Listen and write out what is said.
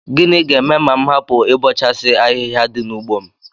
Gịnị ga-eme ma m hapụ ịbọchasị ahịhịa dị n'ugbo m